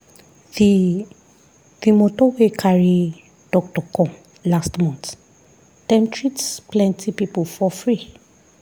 the the moto wey carry doctor come last month dem treat plenty people for free.